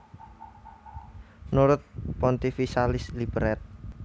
Nurut Pontificalis Liber ed